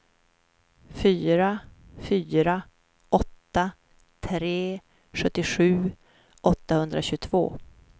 fyra fyra åtta tre sjuttiosju åttahundratjugotvå